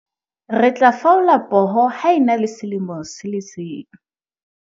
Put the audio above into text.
re tla faola poho ha e na le selemo se le seng